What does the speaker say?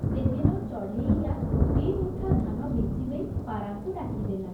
ସେଦିନ ଚଢ଼େଇଆ, ଦି’ମୁଠା ଧାନ ବିଞ୍ଚିଦେଇ, ପାରାଙ୍କୁ ଡାକି ଦେଲା ।